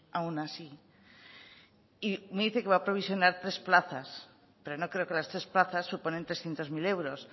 aún así y me dice que va a provisionar tres plazas pero no creo que las tres plazas supongan trescientos mil euros